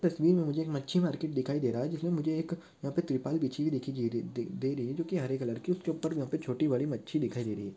तस्वीर मे मुझे एक मच्छी मार्केट दिखाई दे रहा है जिसमे मुझे एक यहाँ पे त्रिपाल भिछी हुई दिखीं जी रे दे- दे- रही जोकि हरे कलर की उसके ऊपर यहाँ पे छोटी बड़ी मच्छी दिखाई दे रही है।